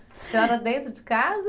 A senhora dentro de casa?